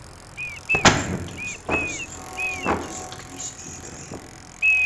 эпизод тридцать два сезона девять заткнись и играй